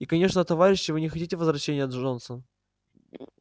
и конечно товарищи вы не хотите возвращения джонса